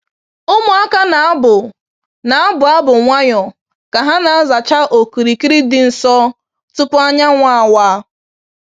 Ụmụaka na-abụ na-abụ abụ nwayọọ ka ha na-azacha okirikiri dị nsọ tupu anyanwụ awa.